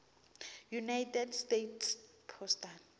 united states postal